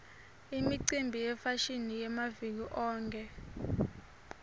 imicimbi yefashini yamaviki onkhe